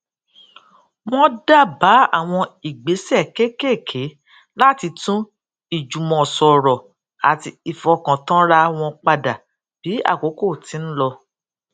wón dábàá àwọn ìgbésè kéékèèké láti tún ìjùmọsòrò àti ìfọkàntánra wọn padà bí àkókò ti ń lọ